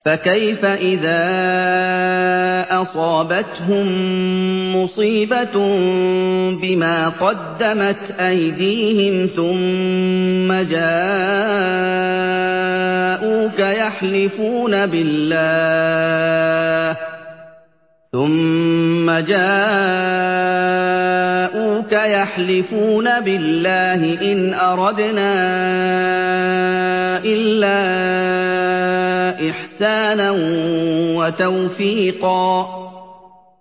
فَكَيْفَ إِذَا أَصَابَتْهُم مُّصِيبَةٌ بِمَا قَدَّمَتْ أَيْدِيهِمْ ثُمَّ جَاءُوكَ يَحْلِفُونَ بِاللَّهِ إِنْ أَرَدْنَا إِلَّا إِحْسَانًا وَتَوْفِيقًا